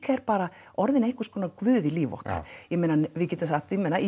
bara orðinn eins konar guð í lífum okkar ég meina við getum sagt ég meina